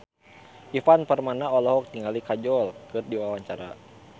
Ivan Permana olohok ningali Kajol keur diwawancara